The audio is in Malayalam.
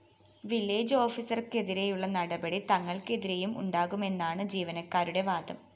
വില്ലേജ്‌ ഓഫീസര്‍ക്കെതിരെയുള്ള നടപടി തങ്ങള്‍ക്കെതിരെയും ഉണ്ടാകുമെന്നാണ് ജീവനക്കാരുടെ വാദം